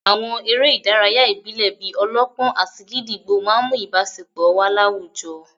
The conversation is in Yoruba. Àwọn eré ìdárayá ìbílẹ̀ bíi -ọlọ́pọ́n àti gídígbò máà ń mú ìbáṣepọ̀ wà láwùjọ